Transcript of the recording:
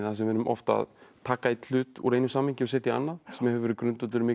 við erum oft að taka hlut úr einu samhengi og setja í annað sem hefur verið grundvöllur mikilla